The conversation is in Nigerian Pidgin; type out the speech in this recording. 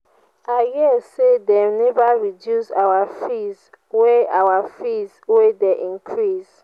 i hear say dey never reduce our fees wey our fees wey dey increase.